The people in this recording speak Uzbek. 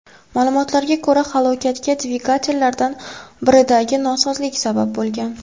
Ma’lumotlarga ko‘ra, halokatga dvigatellardan biridagi nosozliklar sabab bo‘lgan.